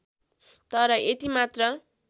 तर यति मात्र